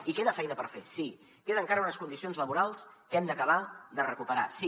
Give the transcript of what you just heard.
i queda feina per fer sí queden encara unes condicions laborals que hem d’acabar de recuperar sí